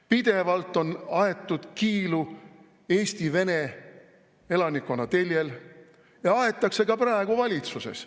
Pidevalt on aetud kiilu Eesti vene elanikkonna teljel ja aetakse ka praegu valitsuses.